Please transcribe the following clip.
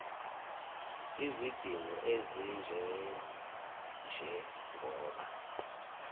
izidingo ezinje njengoba